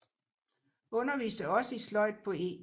Underviste også i sløjd på E